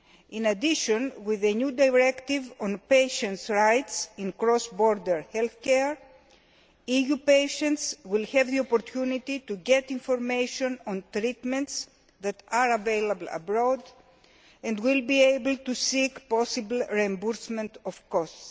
In addition with the new directive on patients' rights in cross border health care, EU patients will have the opportunity to get information on treatments that are available abroad and will be able to seek possible reimbursement of costs.